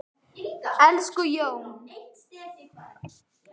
Elsku Jón.